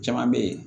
Caman bɛ yen